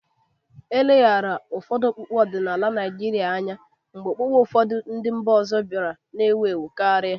E leghaara ụfọdụ okpukpe ọdịnala Naijiria anya ka okpukpe ndị mba ọzọ bịara na-ewu ewu karịa.